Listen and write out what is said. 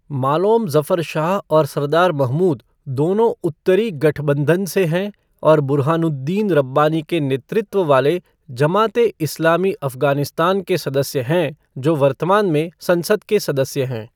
मालोम ज़फ़र शाह और सरदार महमूद दोनों उत्तरी गठबंधन से हैं और बुरहानुद्दीन रब्बानी के नेतृत्व वाले जमात ए इस्लामी अफ़गानिस्तान के सदस्य हैं जो वर्तमान में संसद के सदस्य हैं।